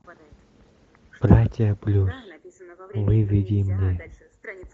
братья плюс выведи мне